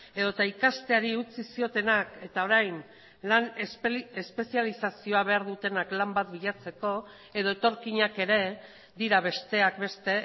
edota ikasteari utzi ziotenak eta orain lan espezializazioa behar dutenak lan bat bilatzeko edo etorkinak ere dira besteak beste